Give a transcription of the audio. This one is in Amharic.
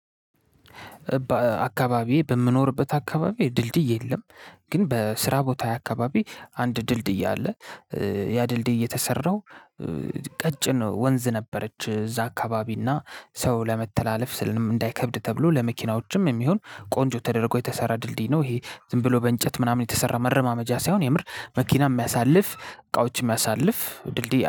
አካባቢ በምኖርበት አካባቢ ድልድይ የለም። ግን በስራ ቦታየ አካባቢ አንድ ድልድይ አለ። ያ ድልድይ የተሰራው። ቀጭን ወንዝ ነበረች እዛ አካባቢና እና ሰው ለመተላለፍ ስልንም እንዳይከብድ ተብሎ ለመኪናዎችም የሚሆን ቆንጆ ተደርጎ የተሰራ ድልድይ ነው ይሄ ዝም ብሎ በእንጨት ምናምን የተሰራ መረማመጃ ሳይሆን የምር መኪና የሚያሳልፍ እቃዎች የሚያሳልፍ ድልድይ